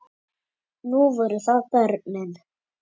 Nú voru það börnin.